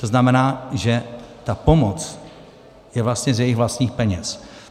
To znamená, že ta pomoc je vlastně z jejich vlastních peněz.